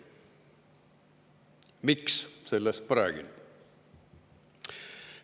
Miks, sellest ma räägin.